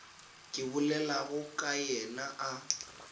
ke bolelago ka yena a